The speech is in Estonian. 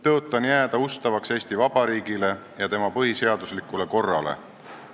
Tõotan jääda ustavaks Eesti Vabariigile ja tema põhiseaduslikule korrale.